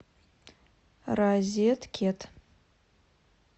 розеткед